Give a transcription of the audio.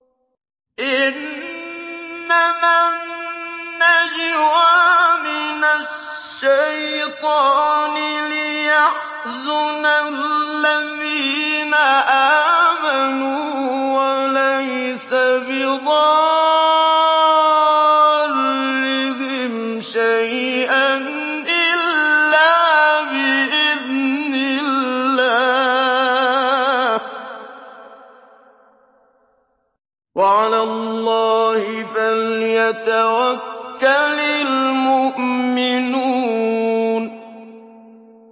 إِنَّمَا النَّجْوَىٰ مِنَ الشَّيْطَانِ لِيَحْزُنَ الَّذِينَ آمَنُوا وَلَيْسَ بِضَارِّهِمْ شَيْئًا إِلَّا بِإِذْنِ اللَّهِ ۚ وَعَلَى اللَّهِ فَلْيَتَوَكَّلِ الْمُؤْمِنُونَ